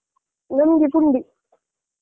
ನಮ್ಗೆ ಪುಂಡಿ.